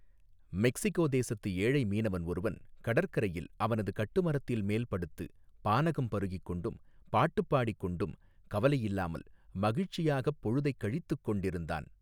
Mexico தேசத்து ஏழை மீனவன் ஒருவன் கடற்கரையில் அவனது கட்டுமரத்தில் மேல் படுத்து பானகம் பருகிக் கொண்டும் பாட்டுப் பாடிக் கொண்டும் கவலையில்லாமல் மகிழ்ச்சியாகப் பொழுதைக் கழித்துக் கொண்டிருந்தான்.